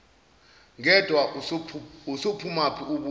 ngedwa usuphumaphi ubuya